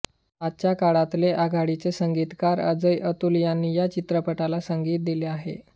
आजच्या काळातले आघाडीचे संगीतकार अजय अतुल यांनी या चित्रपटाला संगीत दिले आहे